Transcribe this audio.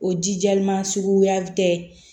O jijama suguya tɛ